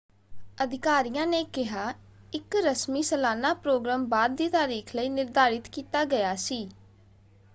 ਅਧਿਕਾਰੀਆਂ ਨੇ ਕਿਹਾ ਇਕ ਰਸਮੀ ਸਾਲਾਨਾ ਪ੍ਰੋਗਰਾਮ ਬਾਅਦ ਦੀ ਤਾਰੀਖ ਲਈ ਨਿਰਧਾਰਿਤ ਕੀਤਾ ਗਿਆ ਸੀ।